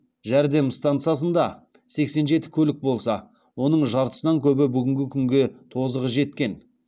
жәрдем стансасында сексен жеті көлік болса оның жартысынан көбі бүгінгі күнде тозығы жеткен